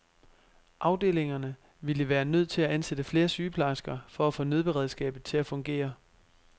Afdelingerne ville være nødt til at ansætte flere sygeplejersker for at få nødberedskabet til at fungere.